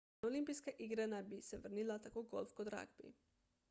na olimpijske igre naj bi se vrnila tako golf kot ragbi